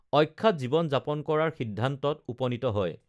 অখ্যাত জীৱন যাপন কৰাৰ সিদ্ধান্তত উপণিত হয়